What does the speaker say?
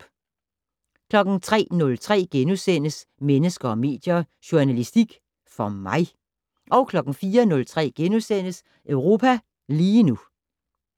03:03: Mennesker og medier: Journalistik - for mig? * 04:03: Europa lige nu *